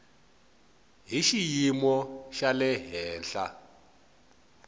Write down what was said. hi xiyimo xa le henhla